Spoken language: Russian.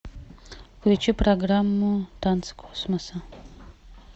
включи программу танцы космоса